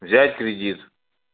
взять кредит